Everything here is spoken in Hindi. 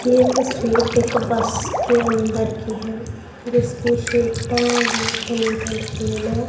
ये तस्वीर एक बस के अंदर की है जिसकी सिटां बहोत नीट एंड क्लिन हैं।